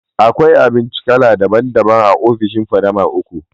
Akwai abinci kala daban daban a ofishin Fadama lll